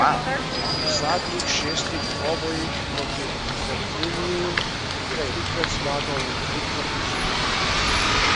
V zadnjih šestih dvobojih proti Fogniniju je trikrat zmagal in trikrat izgubil.